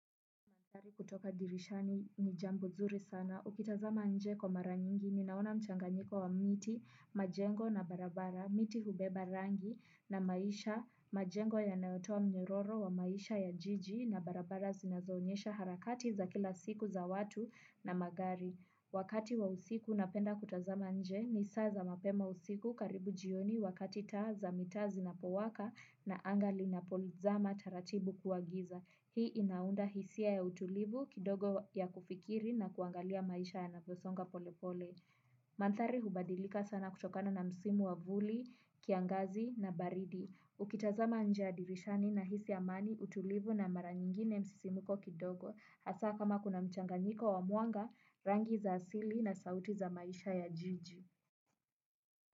Kutoka dirishani ni jambo zuri sana. Ukitazama nje kwa mara nyingi, ninaona mchanganyiko wa miti, majengo na barabara, miti hubeba rangi na maisha, majengo yanayotoa mnyororo wa maisha ya jiji na barabara zinazoonyesha harakati za kila siku za watu na magari. Wakati wa siku napenda kutazama nje ni saa za mapema usiku karibu jioni wakati taa za mitaa zinapowaka na anga linapozama taratibu kuwa giza. Hii inaunda hisia ya utulivu kidogo ya kufikiri na kuangalia maisha yanaposonga pole pole. Maandhari hubadilika sana kutokana na msimu wa vuli, kiangazi na baridi. Ukitazama nje ya dirishani nahisi amani utulivu na mara nyingine msisimko kidogo. Hasa kama kuna mchanganyiko wa mwanga, rangi za asili na sauti za maisha ya jiji.